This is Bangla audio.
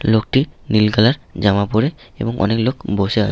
লোকটি নীল কালার জামা পরে এবং অনেক লোক বসে --